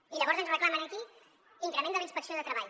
i llavors ens reclamen aquí increment de la inspecció de treball